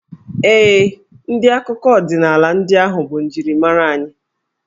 Ee, ndị akụkọ ọdịnaala ndị ahụ bụ njirimara anyị.